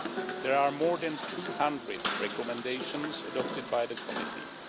There are more than 200 recommendations adopted by the Committee.